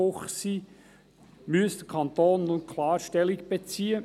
Auch dieser gegenüber müsse der Kanton nun klar Stellung beziehen.